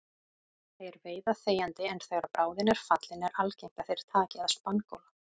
Þeir veiða þegjandi en þegar bráðin er fallin er algengt að þeir taki að spangóla.